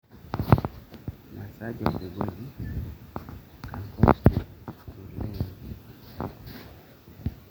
ore enchorata osesen naa keboita oo enchalan osesen teneboo oo maimaisho